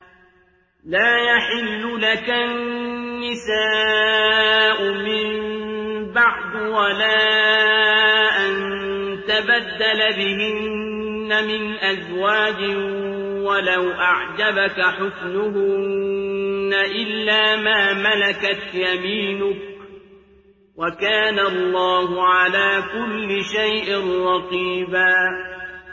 لَّا يَحِلُّ لَكَ النِّسَاءُ مِن بَعْدُ وَلَا أَن تَبَدَّلَ بِهِنَّ مِنْ أَزْوَاجٍ وَلَوْ أَعْجَبَكَ حُسْنُهُنَّ إِلَّا مَا مَلَكَتْ يَمِينُكَ ۗ وَكَانَ اللَّهُ عَلَىٰ كُلِّ شَيْءٍ رَّقِيبًا